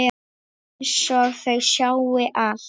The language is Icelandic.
Einsog þau sjái allt.